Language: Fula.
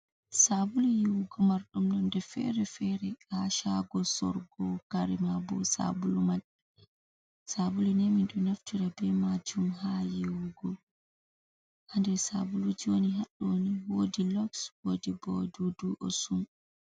Saabulu yiwugo, marɗum nonde fere-fere, haa shaago sorgo kare maabo sabulu man, sabulu ni minɗo naftira be maajum haa yiwugo, haa nder sabuluji woni haa ɗo ni woodi loks, woodi ɓo dudu osun.